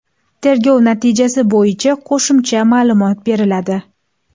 Tergov natijasi bo‘yicha qo‘shimcha ma’lumot beriladi.